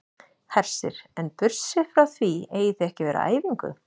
Hersir: En burtséð frá því eigið þið ekki að vera á æfingu?